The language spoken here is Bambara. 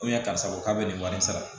karisa ko k'a bɛ nin wari sara